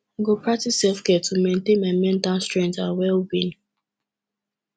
i go practice selfcare to maintain my mental strength and wellbeing